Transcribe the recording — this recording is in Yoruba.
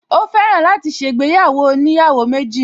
Ó fẹ́ràn láti ṣe ìgbéyàwó oníyàwó méjì